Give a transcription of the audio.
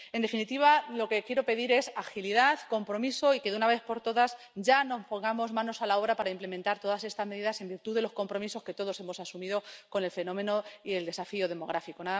En definitiva, lo que quiero pedir es agilidad, compromiso y que, de una vez por todas, nos pongamos ya manos a la obra para implementar todas estas medidas en virtud de los compromisos que todos hemos asumido con el fenómeno y el desafío demográficos.